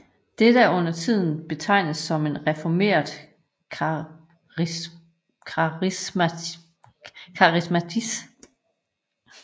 Dette er undertiden betegnet som en reformert karismatisk